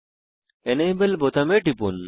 enable বোতামে টিপুন